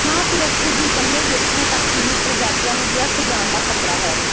ਨਾ ਸਿਰਫ਼ ਕੁਝ ਇਕੱਲੇ ਵਿਅਕਤੀਆਂ ਤੱਕ ਸੀਮਿਤ ਪ੍ਰਜਾਤੀਆਂ ਨੂੰ ਵਿਅਰਥ ਜਾਣ ਦਾ ਖਤਰਾ ਹੈ